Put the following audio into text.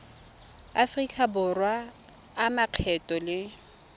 aforika borwa a makgetho le